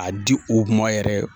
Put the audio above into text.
A di u ma yɛrɛ